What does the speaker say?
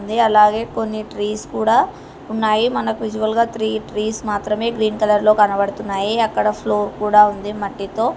అలాగే కొన్ని ట్రీస్ కూడా ఉన్నాయి మనకి విజువల్ గా త్రీ ట్రీస్ మాత్రమే గ్రీన్ కలర్ లో కనబడుతున్నాయి అక్కడ ఫ్లోర్ కూడా ఉంది మట్టితో.